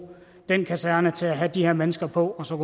den kaserne til at have de her mennesker på og så